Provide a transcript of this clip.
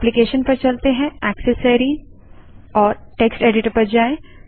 application GT accessories GT text editor पर जाएँ